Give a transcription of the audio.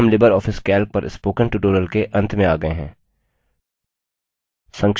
अब हम LibreOffice calc पर spoken tutorial के अंत में आ गये हैं